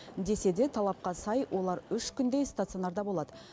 десе де талапқа сай олар үш күндей стационарда болады